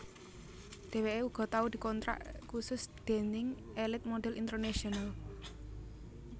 Dheweké uga tau dikontrak khusus déning Elite Modhel International